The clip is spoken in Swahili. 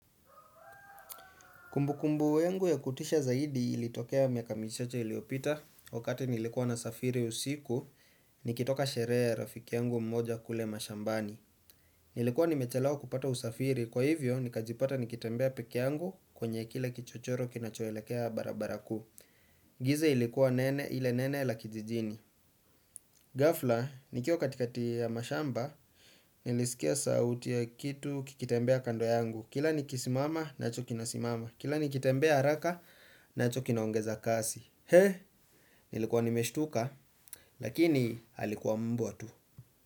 Kumbukumbu yangu ya kutisha zaidi ilitokea miaka michache iliyopita, wakati nilikuwa nasafiri usiku, nikitoka sherehe ya rafiki yangu mmoja kule mashambani. Nilikuwa nimechelewa kupata usafiri, kwa hivyo nikajipata nikitembea peke yangu kwenye kila kichochoro kinachoelekea barabara kuu. Giza ilikuwa nene ile nene la kijijini. Ghafla, nikiwa katikati ya mashamba, nilisikia sauti ya kitu kikitembea kando yangu. Kila nikisimama, nacho kinasimama. Kila nikitembea haraka, nacho kinaongeza kasi. He, nilikuwa nimeshtuka, lakini alikuwa mbwa tu.